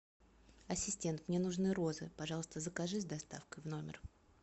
ассистент мне нужны розы пожалуйста закажи с доставкой в номер